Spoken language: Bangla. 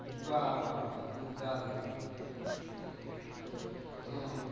বাহ্ বাহ্ বাহ্, দুর্দান্ত হম